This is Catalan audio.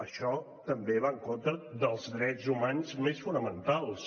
això també va en contra dels drets humans més fonamentals